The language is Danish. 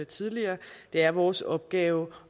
tidligere er vores opgave